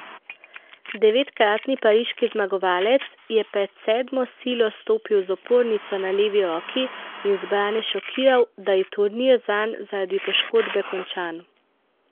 Devetkratni pariški zmagovalec je pred sedmo silo stopil z opornico na levi roki in zbrane šokiral, da je turnir zanj zaradi poškodbe končan.